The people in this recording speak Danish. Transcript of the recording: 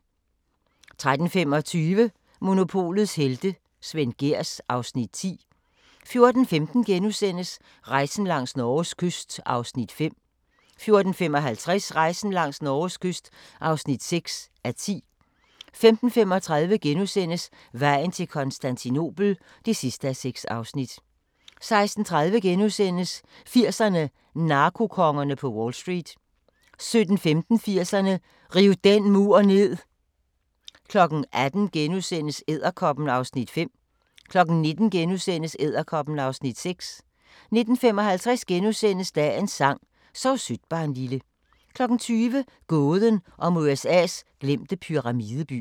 13:25: Monopolets helte - Svend Gehrs (Afs. 10) 14:15: Rejsen langs Norges kyst (5:10)* 14:55: Rejsen langs Norges kyst (6:10) 15:35: Vejen til Konstantinopel (6:6)* 16:30: 80'erne: Narkokongerne på Wall Street * 17:15: 80'erne: Riv den mur ned 18:00: Edderkoppen (Afs. 5)* 19:00: Edderkoppen (Afs. 6)* 19:55: Dagens sang: Sov sødt barnlille * 20:00: Gåden om USA's glemte pyramideby